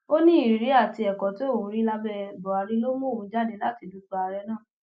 ó ní ìrírí àti ẹkọ tí òun rí lábẹ buhari ló mú òun jáde láti dupò ààrẹ náà